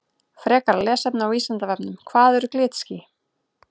Frekara lesefni á Vísindavefnum Hvað eru glitský?